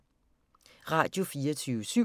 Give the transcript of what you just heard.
Radio24syv